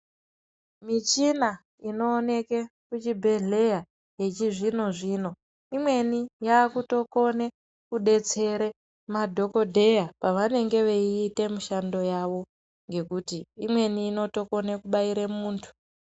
Michina inooneke kuchibhedhleya yechizvino zvino imweni yakutokone kudetsere madhokodheya pavanenge veiute mishando yavo ngekuti imweni inotokone kubaire munthu.